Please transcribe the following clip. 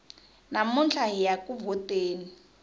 namuntlha hiya ku vhoteni